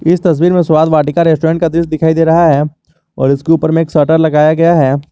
इस तस्वीर में स्वाद वाटिका रेस्टोरेंट का दृश्य दिखाई दे रहा है और इसके ऊपर में एक शटर लगाया गया है।